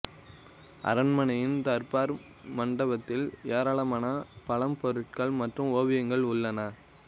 அரண்மனையின் தர்பார் மண்டபத்தில் ஏராளமான பழம்பொருட்கள் மற்றும் ஓவியங்கள் உள்ளன